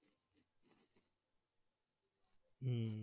হম